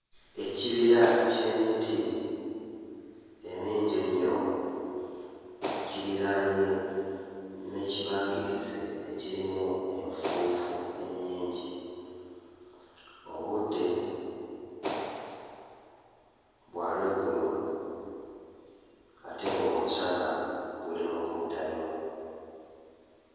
Ekibira ky'emiti emingi ennyo kiriraanye n'ekibangirizi ekirimu enfuufu ennyingi. Obudde bwa lweggulo ate ng'omusana guli mu kuddayo.